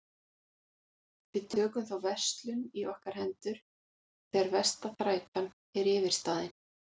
Við tökum þá verslun í okkar hendur þegar versta þrætan er yfirstaðin.